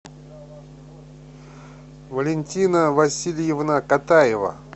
валентина васильевна катаева